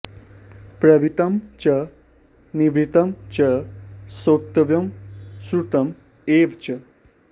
प्रवृत्तं च निवृत्तं च श्रोतव्यं श्रुतम् एव च